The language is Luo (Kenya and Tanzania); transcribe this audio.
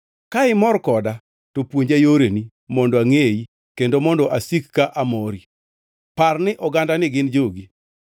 Ka imor koda to puonja yoreni mondo angʼeyi kendo mondo asik ka amori. Par ni ogandani gin jogi.”